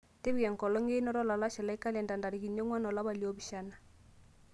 tipika enkolong einoto olalashe lai kalenda ntarikini onguan olapa liopishana